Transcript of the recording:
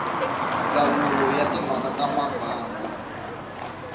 ndzawulo ya timhaka ta mbangu